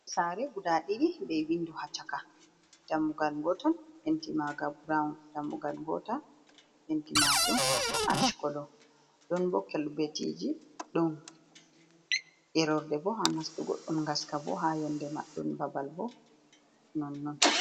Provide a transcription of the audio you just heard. Sare guda ɗidi be windu ha chaka, dammugal gotel finti maga buraun, dammugal gotal finti Majum asha kolo don bo kolbetiji don ilorde, bo ha nastugo don gaska, bo ha yonde majun don babal bo non non.